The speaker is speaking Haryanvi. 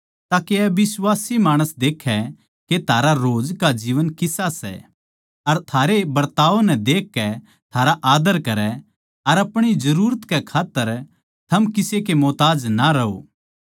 ताके अबिश्वासी माणसां देक्खै के थारा रोज का जीवन किसा सै अर थारे बरताव नै देखकै थारा आद्दर करै अर अपणी जरूरत कै खात्तर थम किसे के मोहताज ना रहो